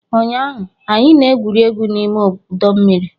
Ụnyaahụ, anyị na-egwuri egwu n'ime ọdọ mmiri